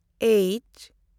H